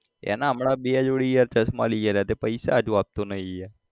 એના હમણાં બે જોડી યાર ચશ્માં લઇ આલ્યા તે પૈસા હજુ આપતો નઈ યાર